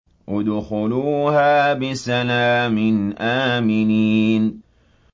ادْخُلُوهَا بِسَلَامٍ آمِنِينَ